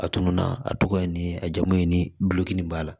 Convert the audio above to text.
A tununna a tɔgɔ ye nin ye a jamu ye ni gulɔki nin b'a la